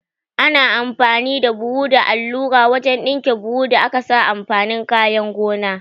Ana amfani da buhu da allura wajan ɗinke buhun da akasa amfanin kayan gona